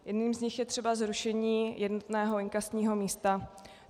Jednou z nich je třeba zrušení jednotného inkasního místa.